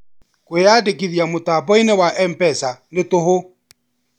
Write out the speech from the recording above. Kwĩyandĩkithia mũtambo-inĩ wa MPESA nĩ tũhũ